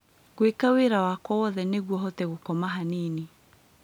ngwĩka wĩra wakwa wothe nĩguo hote gũkoma hanini